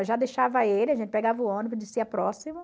Eu já deixava ele, a gente pegava o ônibus, dizia próximo.